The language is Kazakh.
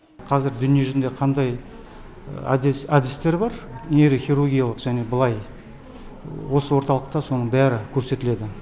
қазір дүние жүзінде қандай әдістер бар нейрохирургиялық осы орталықта соның бәрі көрсетіледі